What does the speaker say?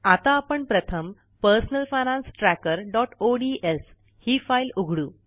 आता आपण प्रथम पर्सनल फायनान्स trackerओडीएस ही फाईल उघडू